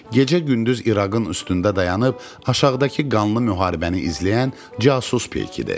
Gecə-gündüz İraqın üstündə dayanıb aşağıdakı qanlı müharibəni izləyən casus peykidir.